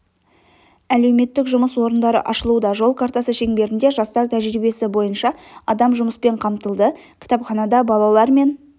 әлеуметтік жұмыс орындары ашылуда жол картасы шеңберінде жастар тәжірибесі бойынша адам жұмыспен қамтылды кітапханада балалар мен